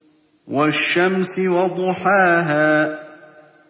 وَالشَّمْسِ وَضُحَاهَا